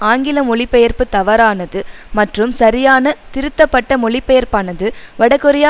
ஆங்கில மொழிபெயர்ப்பு தவறானது மற்றும் சரியான திருத்தப்பட்ட மொழிபெயர்ப்பானது வடகொரியா